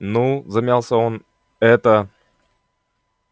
ну замялся он это